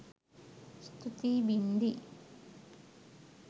ස්තුතියි බින්දි